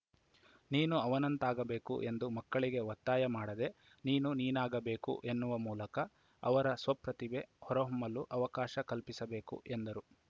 ನೀನು ಅವನಂತಾಗಬೇಕು ಎಂದು ಮಕ್ಕಳಿಗೆ ಒತ್ತಾಯ ಮಾಡದೆ ನೀನು ನೀನಾಗಬೇಕು ಎನ್ನುವ ಮೂಲಕ ಅವರ ಸ್ವಪ್ರತಿಭೆ ಹೊರಹೊಮ್ಮಲು ಅವಕಾಶ ಕಲ್ಪಿಸಬೇಕು ಎಂದರು